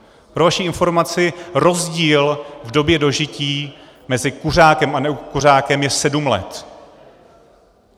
Pro vaši informaci, rozdíl v době dožití mezi kuřákem a nekuřákem je sedm let.